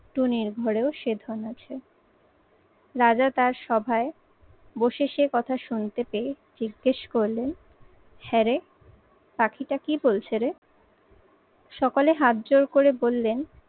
টুনির ঘরেও সে ধন আছে। রাজা তার সভায় বসে সে কথা শুনতে পেয়ে জিজ্ঞেস করলেন হ্যাঁ রে, পাখিটা কি বলছে রে? সকালে হাত জোড় করে বললেন,